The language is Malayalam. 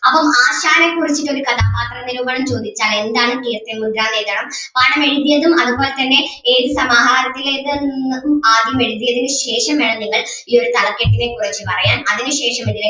അപ്പം ആശാനേ കുറിച്ചിട്ട് ഒരു കഥാപാത്ര നിരൂപണം ചോദിച്ചാൽ എന്താണ് കീർത്തിമുദ്ര എന്ന് എഴുതണം പാഠം എഴുതിയതും അതുപോലെ തന്നെ ഏത് സമാഹാരത്തിലേത് എന്നും ആദ്യം എഴുതിയതിന് ശേഷം വേണം നിങ്ങൾ ഈ ഒരു തലക്കെട്ടിനെ കുറിച്ച്‌ പറയാൻ അതിനു ശേഷം ഇതിലെ